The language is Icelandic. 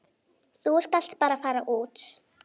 Þú skalt bara fara út.